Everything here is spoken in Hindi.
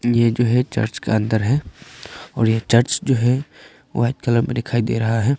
ये जो है चर्च का अंदर है और यह चर्च जो है वाइट कलर में दिखाई दे रहा है।